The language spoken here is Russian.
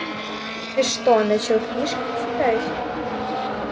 ты что начал книжки читать